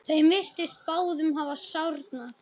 Þeim virtist báðum hafa sárnað.